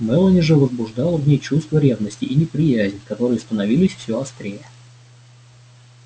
мелани же возбуждала в ней чувство ревности и неприязнь которые становились все острее